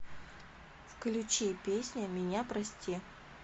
включи песня меня прости